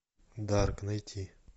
дарк найти